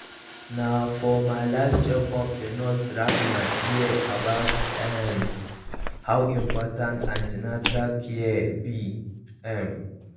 na for my last check up the nurse drag my ear about um how important an ten atal care be um